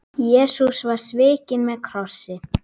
Jesús var svikinn með kossi.